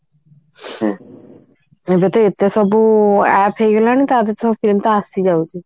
ଏବେ ତ ଏତେ ସବୁ app ହେଇଗଲାଣି ତା ଭିତରେ ପୁଣି ତ ଆସିଯାଉଛି